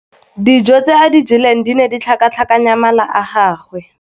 Dijô tse a di jeleng di ne di tlhakatlhakanya mala a gagwe.